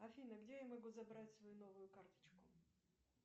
афина где я могу забрать свою новую карточку